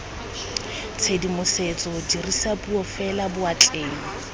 tshedimosetso dirisa puo fela boatleng